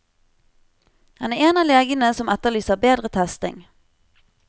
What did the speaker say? Han er en av legene som etterlyser bedre testing.